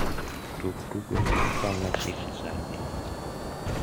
tug tugo ma ochan machiegni sani